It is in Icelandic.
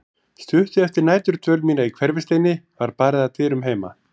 Stuttu eftir næturdvöl mína í Hverfisteini var barið að dyrum heima.